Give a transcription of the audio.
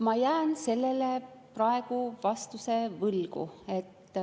Ma jään praegu vastuse võlgu.